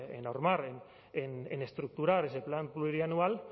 en normar en estructurar ese plan plurianual